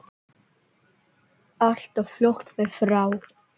Allt of fljótt mér frá.